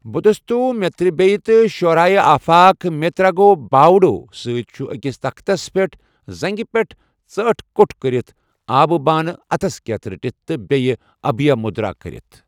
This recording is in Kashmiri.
بودھِستو٘ میترییہ تہٕ شعرایہ آفاق 'میتراگو باوڈو' سۭتۍ، چھ، أکِس تختَس پٮ۪ٹھ زنٛگہِ پٮ۪ٹھ ژاٹھہٕ كو٘ٹھ كرِتھ، آبہِ بانہٕ اَتھس کیٚتھ رٹتھ، تہٕ بییہِ ابھیہ مٗدرا کٔرِتھ ۔